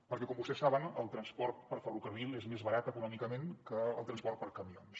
perquè com vostès saben el transport per ferrocarril és més barat econòmicament que el transport per camions